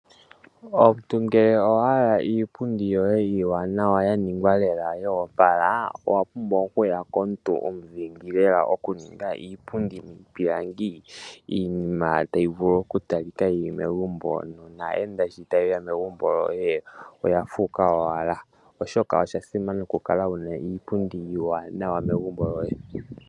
Omuntu ngele owa hala iipundi yoye iiwanawa ya ningwa lela yo opala owa pumbwa okuya komuntu omudhingi lela oku ninga iipundi yiipilangi, iinima tayi vulu oku talika yili megumbo naayenda sho taye ya megumbo lyoye oya fuuka lela oshoka oshasimana okukala wuna iipundi iiwanawa megumbo lyoye.